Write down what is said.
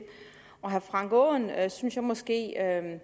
herre frank aaen at at jeg synes måske at